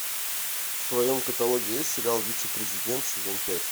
в твоем каталоге есть сериал вице президент сезон пять